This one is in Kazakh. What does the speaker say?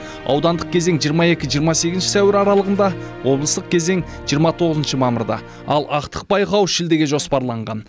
аудандық кезең жиырма екі жиырма сегізінші сәуір аралығында облыстық кезең жиырма тоғызыншы мамырда ал ақтық байқау шілдеге жоспарланған